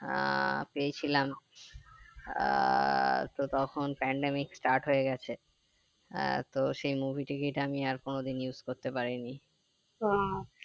আহ পেয়েছিলাম আহ তো তখন pandemic start হয়ে গেছে আহ তো সেই movie ticket আমি আর কোনো দিন use করতে পারিনি